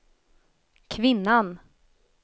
kvinnan